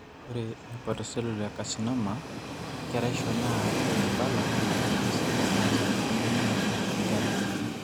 Ore eHepatocellular ecarcinoma, keraisho naa enkabila misil ecancer emonyua najing' inkera.